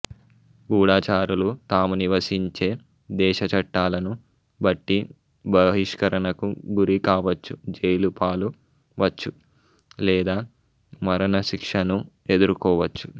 గూఢచారులు తాము నివసించే దేశ చట్టాలను బట్టి బహిష్కరణకు గురి కావచ్చు జైలు పాలవచ్చు లేదా మరణశిక్షనూ ఎదుర్కోవచ్చు